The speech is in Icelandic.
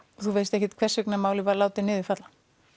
þú veist ekkert hvers vegna málið var látið niður falla